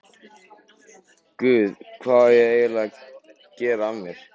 Guð, hvað á ég eiginlega að gera af mér?